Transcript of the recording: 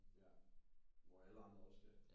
Ja hvor alle andre også skal